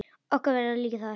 Vera okkar þar líka.